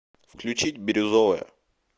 включить бирюзовая